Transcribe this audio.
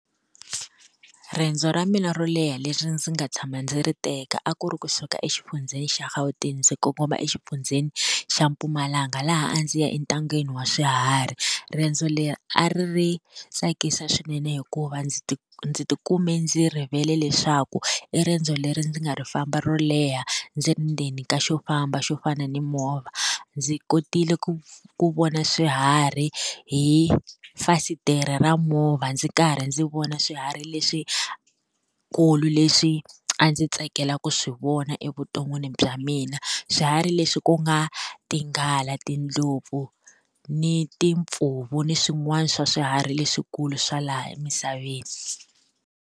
Riendzo ra mina ro leha leswi ndzi nga tshama ndzi ri teka a ku ri kusuka exifundzheni xa Gauteng ndzi kongoma exifundzeni xa Mpumalanga laha a ndzi ya entangeni wa swiharhi. Riendzo leri a ri ri tsakisa swinene hikuva ndzi ndzi ti kumbe ndzi rivele leswaku, i riendzo leri ndzi nga ri famba ro leha ndzi ri ndzeni ka xo famba xo fana ni movha. Ndzi kotile ku ku vona swiharhi hi fasitere ra movha ndzi karhi ndzi vona swiharhi leswikulu leswi a ndzi tsakelaka swi vona evuton'wini bya mina. Swiharhi leswi ku nga tinghala, tindlopfu, ni timpfuvu ni swin'wana swa swiharhi leswikulu swa laha emisaveni.